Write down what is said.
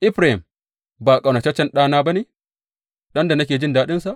Efraim ba ƙaunataccen ɗana ba ne, ɗan da nake jin daɗinsa?